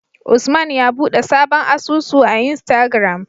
Usman ya buɗe sabon asusu a istagram